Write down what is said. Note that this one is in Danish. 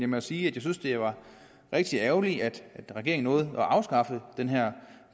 må sige at jeg synes det var rigtig ærgerligt at regeringen nåede at afskaffe den her